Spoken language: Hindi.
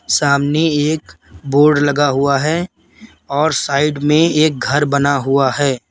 सामने एक बोर्ड लगा हुआ है और साइड में एक घर बना हुआ है।